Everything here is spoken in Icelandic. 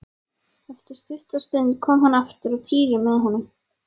Eftir stutta stund kom hann aftur og Týri með honum.